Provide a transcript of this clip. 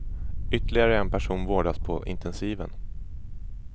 Ytterligare en person vårdas på intensiven.